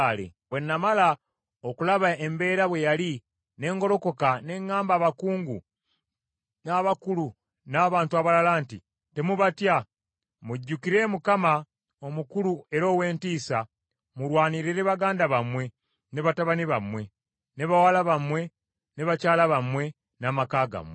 Bwe namala okulaba embeera bwe yali, ne ngolokoka ne ŋŋamba abakungu, n’abakulu, n’abantu abalala nti, “Temubatya. Mujjukire Mukama, omukulu era ow’entiisa, mulwanirire baganda bammwe, ne batabani bammwe, ne bawala bammwe, ne bakyala bammwe n’amaka gammwe.”